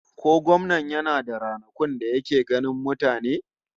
Ko gwamnan yana da ranakun da yake ganin mutane?